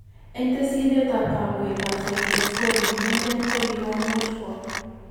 En tesyinet ab kamuget ab cyclosporine inegen kokikomuch ko